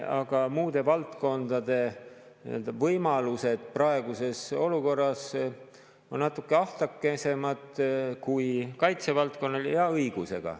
Aga muude valdkondade võimalused praeguses olukorras on natuke ahtakesemad kui kaitsevaldkonnal – ja õigusega.